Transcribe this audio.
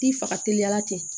Ti faga teliya la ten